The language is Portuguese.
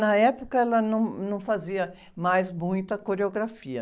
Na época, ela num, não fazia mais muita coreografia.